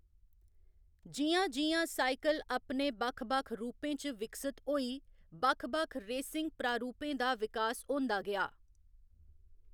जि'यां जि'यां साइकल अपने बक्ख बक्ख रूपें च विकसत होई, बक्ख बक्ख रेसिंग प्रारूपें दा विकास होंदा गेआ।